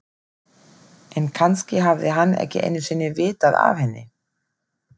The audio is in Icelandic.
En kannski hafði hann ekki einu sinni vitað af henni.